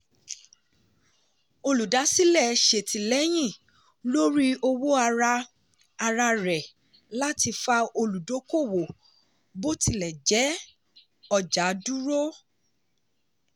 olùdásílẹ̀ ṣètìlẹ́yìn lórí owó ara ara rẹ̀ láti fa olùdókòwò bó tilẹ̀ jẹ́ ọjà dúró.